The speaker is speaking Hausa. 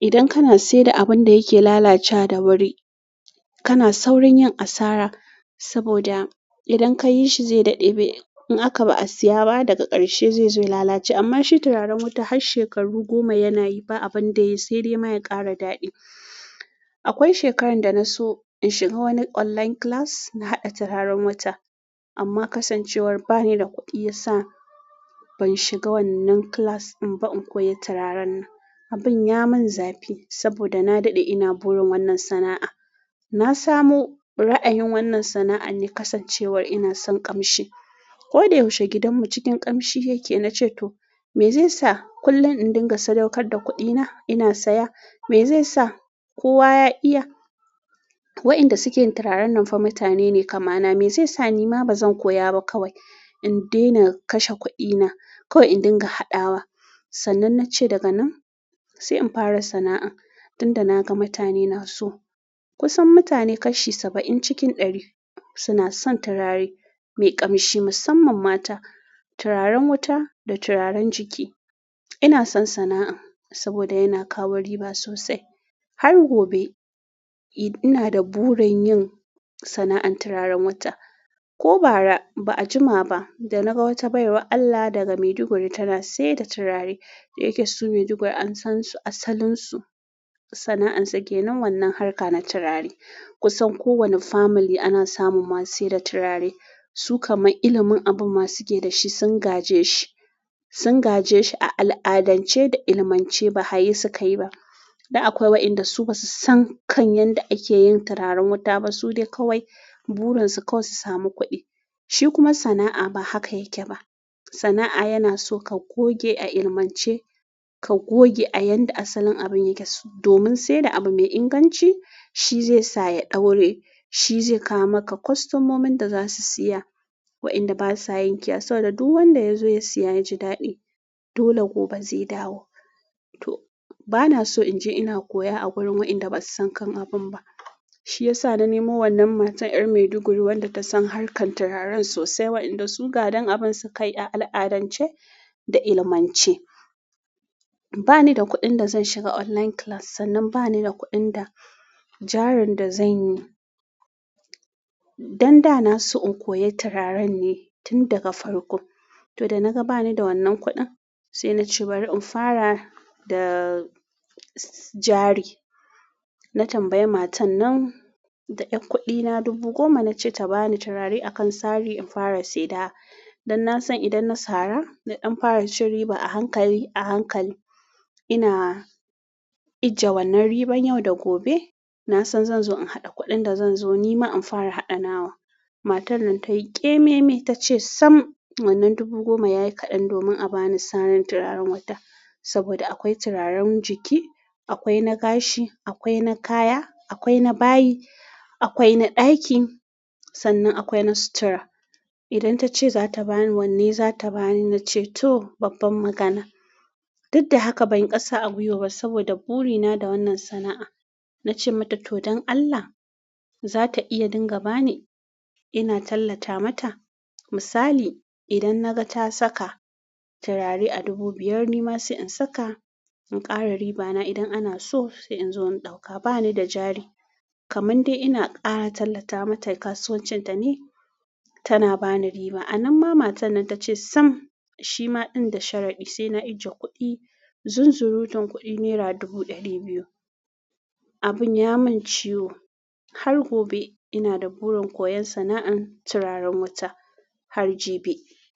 idan kana sayar da abun da yake lalacewa da wuri, kana saurin yin asara saboda idan ka yi shi zai daɗe bai in aka ba a saya ba daga ƙarshe zai zo ya lalace. Amma shi turaren wuta har shekaru goma yana yi ba abin da ya sai dai ma ya ƙara daɗi. Akwai shekarar da na so in shiga wani online class na haɗa turaren wuta, amma kasancewar ba ni da kuɗi ya sa ban shiga wannan class in ba in koyi turaren nan. Abin ya mun zafi saboda na daɗe ina burin wannan sana'a. Na samu ra'ayin wannan sana'a ne kasancewar ina son ƙamshi. Ko da yaushe gidanmu cikin ƙamshi yake. Na ce to me zai sa kullum in dinga sadaukar da kuɗina ina saya? Me zai sa kowa ya iya waɗanda suke turaren nan fa mutane ne kama na. Me zai sa nima ba zan koya ba kawai in daina kashe kuɗina kawai in dinga haɗawa. Sannan na ce daga nan sai in fara sana'an. Tunda na ga mutane na so kusan mutane kashi saba'in cikin ɗari suna son turare mai ƙamshi musamman mata, turaren wuta da turaren jiki. Ina son sana'an saboda yana kawo riba sosai. Har gobe ina da burin yin sana'an turaren wuta. Ko ba 'a jima ba da naga wata baiwar Allah daga maiduguri tana saida turare. Da yake su maiduguri an san su, asalin su, sana'ansu ke nan wannan harka na turare. Kusan kowani family ana samun masu sayar da turare. Su kamar ilimin abin ma su suke da shi sun gaje shi. Sun gaje shi a al'adance da ilmance ba haye su kai ba. Da akwai waɗanda su ba su san kan yadda ake yin turaren wuta ba. Su dai kawai burin su kawai su samu kuɗi. Shi kuma sana'a ba haka yake ba. Sana'a yana so ka goge a ilmance, ka goge a yadda asalin abin yake domin sai da abu mai inganci shi zai sa ya ɗaure, shi zai kawo maka kwastomomin da za su saya. Waɗanda ba sa yankewa saboda duk wanda ya zo ya siya ya ji daɗi. Dole gobe zai dawo. To ba na so in je ina koya a wurin waɗanda ba su san kan abun ba. Shi ya sa na nemo wannan matar 'yar Maiduguri wanda ta san harkar turaren sosai waɗanda su gadan abun su kai a al'adance da ilmance. Ba ni da kuɗin da zan shiga online class sannan ba ni da kuɗin da jarin da zanyi. Dan da na so in koyi turaren ne tun daga farko. To da na ga ba ni da wannan kuɗin sai na ce bari in fara da jari. Na tambayi matar nan da ƴar kuɗina dubu goma na ce ta bani turare a kan sari in fara saidawa. Don na san idan na sara, idan fara cin riba a hankali a hankali ina ijiye wannan riban yau da gobe na san zan zo in haɗa kuɗin da zan zo nima in fara haɗa nawa. Matar nan ta yi ƙememe ta ce sam wannan dubu goma ya yi kaɗan domin a bani sarin turaren wuta. Saboda akwai turaren jiki, akwai na gashi, akwai na kaya, akwai na bayi, akwai na ɗaki, sannan akwai na sutura. Idan tace zata bani, wanne zata ba ni? Nace to, babban magana. Duk da haka ban ƙasa a gwiwa ba saboda burina da wannan sana'a. Na ce mata to don Allah za ta iya dinga ba ni. Ina tallata mata misali idan na ga ta saka turare a dubu biyar nima sai in saka in ƙara ribana idan ana so sai in zo in ɗauka ba ni da jari. Kaman dai ina ƙara tallata mata kasuwancin ta ne tana ba ni riba. Anan ma matar nan ta ce sam shi ma ɗin da sharadi sai na ajiye kuɗi. Zunzurutun kuɗi nera dubu ɗari biyu. Abin ya mun ciwo. Har gobe ina da burin koyan sana'an turaren wuta har jibi.